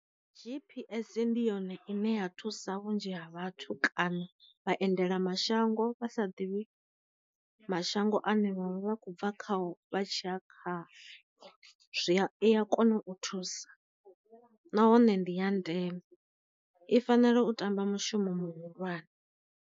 GPS ndi yone ine ya thusa vhunzhi ha vhathu kana vha endela mashango vha sa ḓivhi mashango ane vhanwe vha khou bva khayo vha tshiya kha zwiya i a kona u thusa nahone ndi ya ndeme, i fanela u ṱamba mushumo muhulwane.